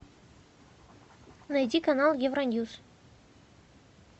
найди канал евроньюс